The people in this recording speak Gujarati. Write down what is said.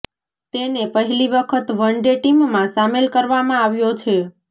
તેને પહેલી વખત વન ડે ટીમમાં સામેલ કરવામાં આવ્યો છે